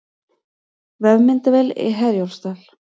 Vefmyndavél í Herjólfsdal